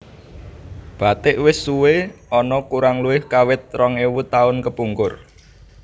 Bathik wis suwé ana kurang luwih kawit rong ewu taun kepungkur